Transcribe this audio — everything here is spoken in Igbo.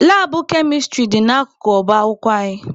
Labụ kemịstrị anyị dị n'akụkụ ọba akwụkwọ anyị.